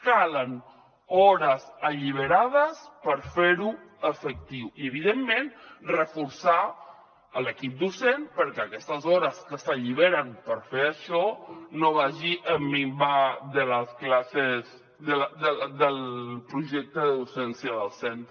calen hores alliberades per fer ho efectiu i evidentment reforçar l’equip docent perquè aquestes hores que s’alliberen per fer això no minvi les classes del projecte de docència del centre